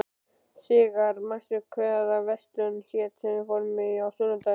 Sigarr, manstu hvað verslunin hét sem við fórum í á sunnudaginn?